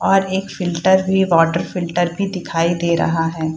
और एक फिल्टर भी वाटर फिल्टर भी दिखाई दे रहा है।